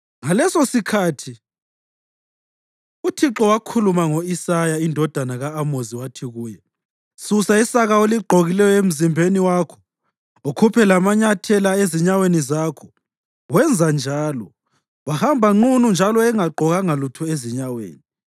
ngalesosikhathi uThixo wakhuluma ngo-Isaya indodana ka-Amozi wathi kuye, “Susa isaka oligqokileyo emzimbeni wakho ukhuphe lamanyathela ezinyaweni zakho.” Wenza njalo, wahamba nqunu njalo engagqokanga lutho ezinyaweni.